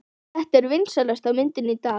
Þetta er vinsælasta myndin í dag!